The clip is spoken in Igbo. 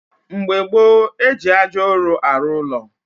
Mgbe gboo, eji ájá ụrụ arụ ụlọ